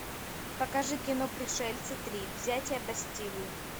покажи кино пришельцы три взятие бастилии